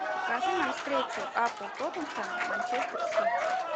покажи нам встречу апл тоттенхэм манчестер сити